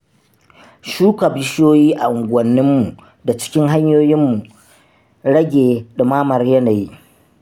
Shuka bishiyoyi a unguwanninmu na cikin hanyoyin rage ɗumamar yanayi